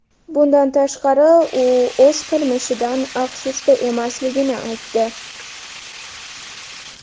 Bundan tashqari, u o‘z qilmishidan afsusda emasligini aytdi.